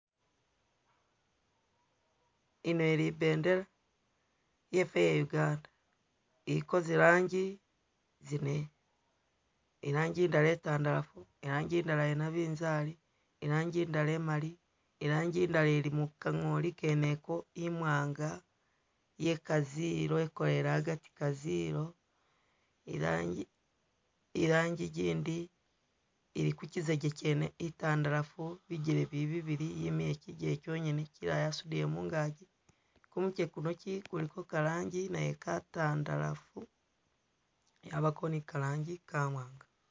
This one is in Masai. Ino ili ibendela yefe iya Uganda iliko zi rangi zine irangi itala i'ntandalafu, irangi ndala yanabinzali, irangi ndala imaali, irangi ndala ili muka ngooli ngene ko imwaanga yeka zero yekoyele agati ka zero, irangi gindi ili kuzijeke chene i'ntandalafu bijele bili bibili yimile kyigele kyongene kyilala yasudile mungagi kumutwe kuno kyi kuliko ka rangi nayo ka tandalafu yabako ni ka rangi Ka mwaanga.